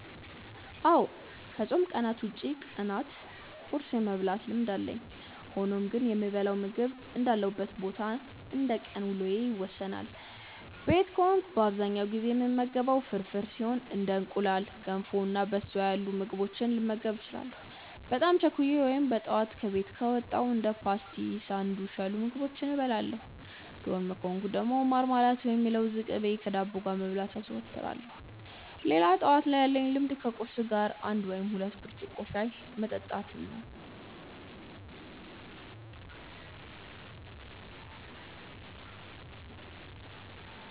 አዎ ከፆም ቀናት ውጪ ቀናት ቁርስ የመብላት ልምድ አለኝ። ሆኖም ግን የምበላው ምግብ እንዳለሁበት ቦታ እና እንደቀን ውሎዬ ይወሰናል። ቤት ከሆንኩ በአብዛኛው ጊዜ የምመገበው ፍርፍር ሲሆን እንደ እንቁላል፣ ገንፎ እና በሶ ያሉ ምግቦችንም ልመገብ እችላለሁ። በጣም ቸኩዬ ወይም በጠዋት ከቤት ከወጣው እንደ ፓስቲ እና ሳንዱች ያሉ ምግቦችን እበላለሁ። ዶርም ከሆንኩ ደግሞ ማርማላት ወይም የለውዝ ቅቤ ከዳቦ ጋር መብላት አዘወትራለሁ። ሌላ ጠዋት ላይ ያለኝ ልምድ ከቁርስ ጋር አንድ ወይም ሁለት ብርጭቆ ሻይ መጠጣት ነው።